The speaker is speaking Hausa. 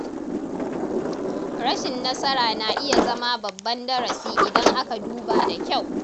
Rashin nasara na iya zama babban darasi idan aka duba da kyau.